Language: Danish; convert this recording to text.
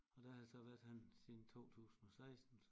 Og der har jeg så været henne siden 2016